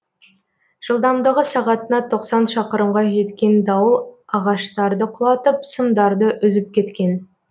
жылдамдығы сағатына тосан шақырымға жеткен дауыл ағаштарды құлатып сымдарды үзіп кеткен